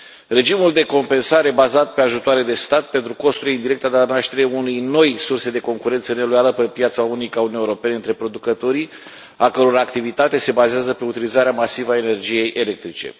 Regimul de compensare bazat pe ajutoare de stat pentru costuri indirecte a dat naștere unei noi surse de concurență neloială pe piața unică a Uniunii Europene între producătorii a căror activitate se bazează pe utilizarea masivă a energiei electrice.